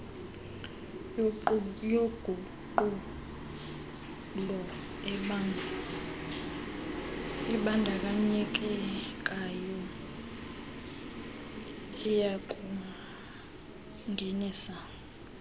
yoguqulo ebandakanyekayo iyakungenisa